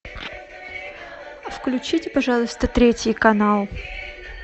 включите пожалуйста третий канал